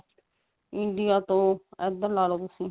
India ਤੋਂ ਇੱਧਰ ਲਾ ਲੋ ਤੁਸੀਂ